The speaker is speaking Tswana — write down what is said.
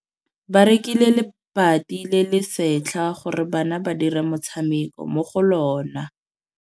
Ba rekile lebati le le setlha gore bana ba dire motshameko mo go lona.